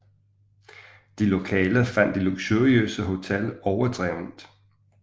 De lokale fandt det luksuriøse hotel overdrevent